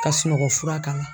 Ka sunɔgɔ fura k'a la.